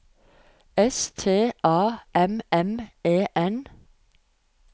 S T A M M E N